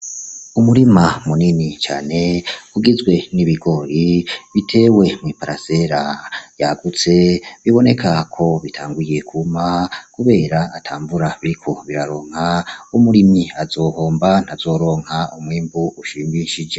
Umurima munini cane ugizwe n'ibigori bitewe mw'iparasera yagutse biboneka ko bitanguye kwuma kubera ata mvura biriko biraronka, umurimyi azohomba ntazoronka umwimbu ushimishije